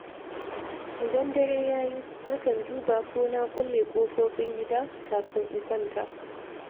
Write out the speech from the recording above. Idan dare ya yi, na kan duba ko na kulle ƙofofin gida, kafin in kwanta.